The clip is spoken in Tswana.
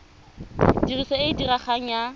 tiriso e e diregang ya